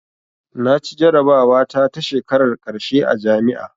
Naci jarabawa ta ta shekarar ƙarshe a jami'a